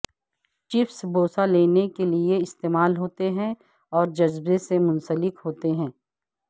chips بوسہ لینے کے لئے استعمال ہوتے ہیں اور جذبہ سے منسلک ہوتے ہیں